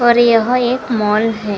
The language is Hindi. और यहां एक माल है।